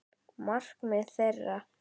Markmið þeirra.